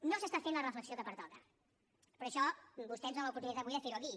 no s’està fent la reflexió que pertoca però això vostè ens dona l’oportunitat avui de fer ho aquí